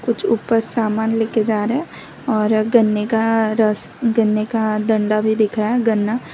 कुछ ऊपर समान लेकर जा रहे और गन्ने का रस गन्ने का डंडा भी दिख रहा है गन्ना--